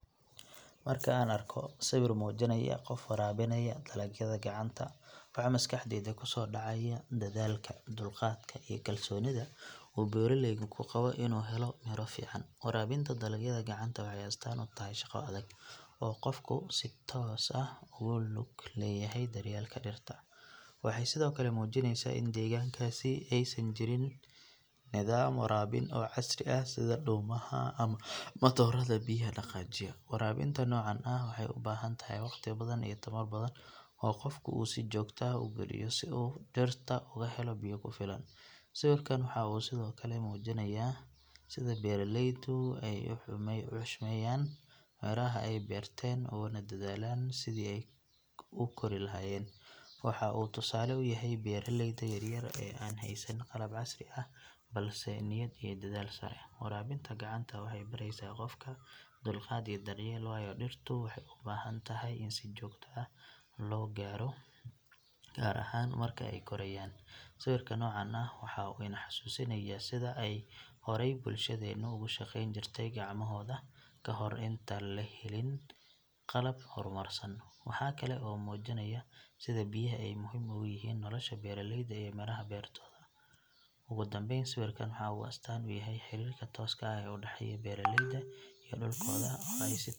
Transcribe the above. Marka aan arko sawir muujinaya qof waraabinaya dalagyada gacanta waxa maskaxdayda kusoo dhacaya dadaalka, dulqaadka iyo kalsoonida uu beeraleygu ku qabo inuu helo midho fiican. Waraabinta dalagyada gacanta waxay astaan u tahay shaqo adag oo qofku si toos ah ugu lug leeyahay daryeelka dhirta. Waxay sidoo kale muujinaysaa in deegaankaas aysan jirin nidaam waraabin oo casri ah sida dhuumaha ama matoorada biyaha dhaqaajiya. Waraabinta noocan ah waxay u baahan tahay waqti badan iyo tamar badan oo qofku uu si joogto ah u geliyo si uu dhirta ugu helo biyo ku filan. Sawirkan waxa uu sidoo kale muujinayaa sida beeraleydu ay u xushmeeyaan midhaha ay beerteen uguna dadaalaan sidii ay u kori lahaayeen. Waxa uu tusaale u yahay beeraleyda yaryar ee aan haysan qalab casri ah balse leh niyad iyo dadaal sare. Waraabinta gacanta waxay baraysaa qofka dulqaad iyo daryeel waayo dhirtu waxay u baahan tahay in si joogto ah loo waraabiyo gaar ahaan marka ay korayaan. Sawirka noocan ah waxa uu ina xasuusinayaa sidii ay horey bulshadeenu ugu shaqeyn jirtay gacmahooda kahor intaan la helin qalab horumarsan. Waxa kale oo uu muujinayaa sida biyaha ay muhiim ugu yihiin nolosha beeraleyda iyo midhaha beertooda. Ugu dambeyn sawirkan waxa uu astaan u yahay xiriirka tooska ah ee u dhexeeya beeraleyda iyo dhulkooda oo ay si .